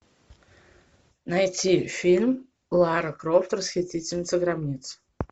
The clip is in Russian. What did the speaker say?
найти фильм лара крофт расхитительница гробниц